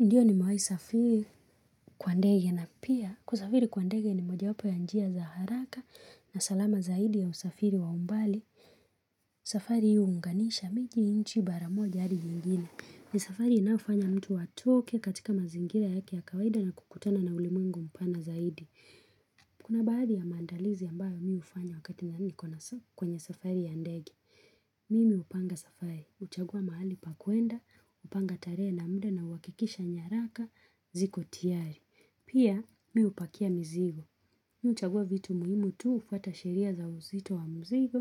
Ndiyo nimewahi safiri kwa ndege na pia kusafiri kwa ndege ni moja wapo ya njia za haraka na salama zaidi ya usafiri wa umbali. Safari huunganisha miji nchi bara moja hadi nyingine. Ni safari inaofanya mtu atoke katika mazingira yake ya kawaida na kukutana na ulimwengu mpana zaidi. Kuna baadhi ya mandalizi ambayo mi hufanya wakati nikona kwenye safari ya ndege. Mimi hupanga safai, huchagua mahali pa kuenda, hupanga tarehe na mda na uwakikisha nyaraka ziko tiari. Pia mi hupakia mzigo. Mi huchagua vitu muhimu tu hufuata sheria za uzito wa mzigo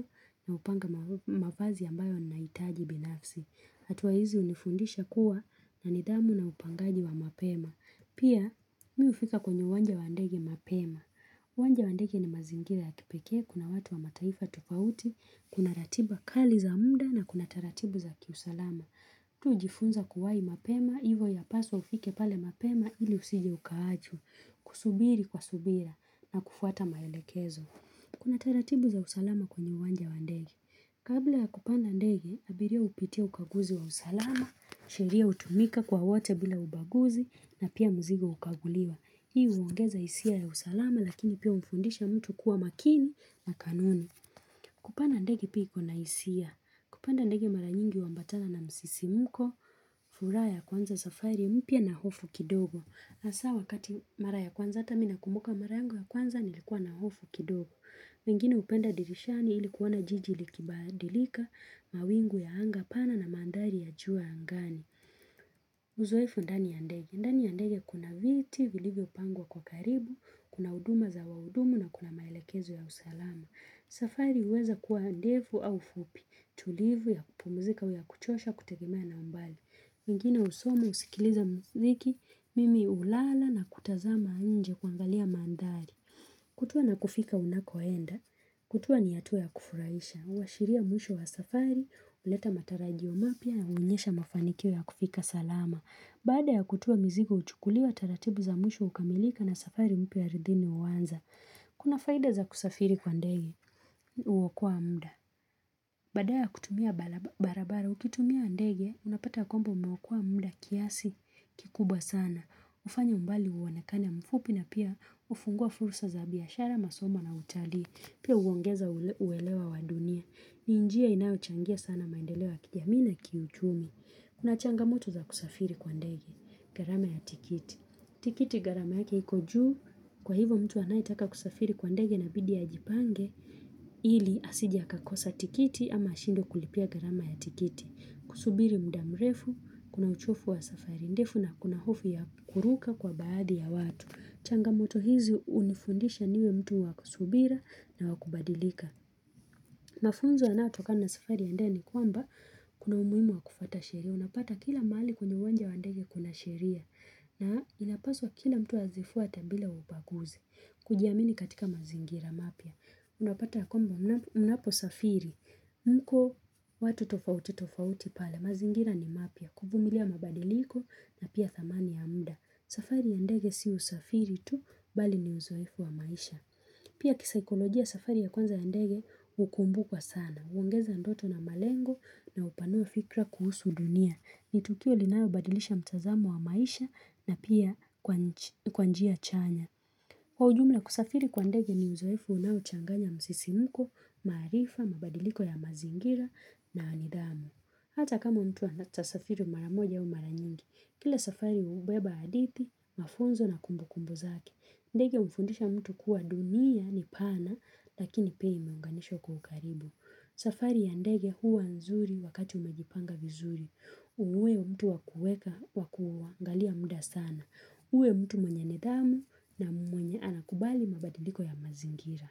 na hupanga ma mavazi ambayo nahitaji binafsi. Hatua hizi hunifundisha kuwa na nidhamu na upangaji wa mapema. Pia mi hufika kwenye uwanja wa ndege mapema. Uwanja wa ndege ni mazingira ya kipekee, kuna watu wa mataifa tofauti, kuna ratiba kali za mda na kuna taratibu za kiusalama. Mtu hujifunza kuwahi mapema, ivo inapaswa ufike pale mapema ili usije ukaachwa, kusubiri kwa subira na kufuata maelekezo. Kuna taratibu za usalama kwenye uwanja wa ndege. Kabla ya kupanda ndege, abiria hupitia ukaguzi wa usalama, sheria hutumika kwa wote bila ubaguzi na pia mzigo hukaguliwa. Hii huongeza hisia ya usalama lakini pia humfundisha mtu kuwa makini na kanuni. Kupanda ndege pia ikona hisia. Kupanda ndege mara nyingi wa huambatana na msisimuko, furaha ya kuanza safari, mpya na hofu kidogo. Hasa wakati mara ya kwanza, ata mi na kumbuka mara yangu ya kwanza, nilikuwa na hofu kidogo. Wengine hupenda dirishani ilikuona jiji likibadilika, mawingu ya anga, pana na mandhari ya juu angani. Uzoefu ndani ndege. Ndani ndege ya kuna viti, vilivyo pangwa kwa karibu, kuna huduma za wahudumu na kuna maelekezo ya usalama. Safari huweza kuwa ndefu au fupi, tulivu ya pumuzika au ya kuchosha kutegemea na umbali. Wengine husoma husikiliza mziki, mimi ulala na kutazama nje kuwangalia mandhari. Kutua na kufika unakoenda, kutua ni hatua ya kufurahisha. Huwashiria mwisho wa safari, huleta matarajio mapya yaonyesha mafanikio ya kufika salama. Baada ya kutua mzigo huchukuliwa, taratibu za mwisho hukamilika na safari mpya ardhini huwanza. Kuna faida za kusafiri kwa ndege huokoa mda. Badala ya kutumia bara barabara, ukitumia ndege, unapata ya kwamba umeokoa mda kiasi kikubwa sana. Hufanya umbali uonekane mfupi na pia hufungua fursa za biashara masoma na utalii. Pia huongeza ule uwelewa wa dunia. Ni njia inayochangia sana maendeleo kijamii na kiu uchumi Kuna changamoto za kusafiri kwa ndege. Gharama ya tikiti. Tikiti gharama yake iko juu kwa hivyo mtu anaetaka kusafiri kwa ndege anabidi ajipange. Ili asijie akakosa tikiti ama ashindwe kulipia gharama ya tikiti kusubiri muda mrefu, kuna uchofu wa safari ndefu na kuna hofu ya kuruka kwa baadhi ya watu changamoto hizi hunifundisha niwe mtu waku subira na wakubadilika mafunzo yanaotokana na safari ya ndege ni kwamba kuna umuhimu wa kufuata sheria unapata kila mali kwenye uwanja wa ndege kuna sheria na inapaswa kila mtu azifuate bila ubaguzi kujiamini katika mazingira mapya unapata ya kwamba mnapo mnapo safiri. Mko watu tofauti tofauti pale. Mazingira ni mapya. Kuvumilia mabadiliko na pia thamani ya mda. Safari ya ndege sio usafiri tu bali ni uzoefu wa maisha. Pia kisikolojia safari ya kwanza ya ndege hukumbukwa sana. Huongeza ndoto na malengo na hupanua fikra kuhusu dunia. Ni tukio linao badilisha mtazamo wa maisha na pia kwa kwa njia chanya. Kwa ujumla kusafiri kwa ndege ni uzoefu unao uchanganya msisimuko, maarifa, mabadiliko ya mazingira na nidhamu. Hata kama mtu ana ata safiri mara moja ya mara nyingi, kila safari hubeba hadithi, mafunzo na kumbu kumbu zake. Ndege hufundisha mtu kuwa dunia ni pana lakini pia imeunganishwa kwa ukaribu. Safari ya ndege huwa nzuri wakati umejipanga vizuri. Uwe mtu wa kueka wakua ngalia muda sana. Uwe mtu mwenye nidhamu na mwenye anakubali mabadiliko ya mazingira.